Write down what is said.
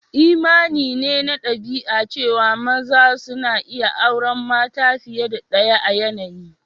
Imani ne na dabi'a cewa maza suna iyi auren mata fiye da daya a yanayi.